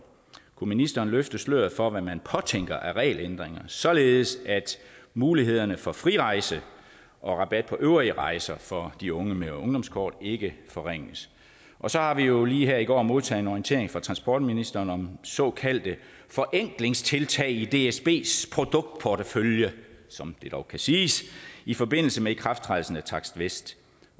kunne ministeren løfte sløret for hvad man påtænker af regelændringer således at mulighederne for frirejse og rabat på øvrige rejser for de unge med ungdomskortet ikke forringes og så har vi jo lige her i går modtaget en orientering fra transportministeren om såkaldte forenklingstiltag i dsbs produktportefølje som det dog kan siges i forbindelse med ikrafttrædelsen af takst vest